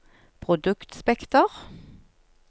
produktspekter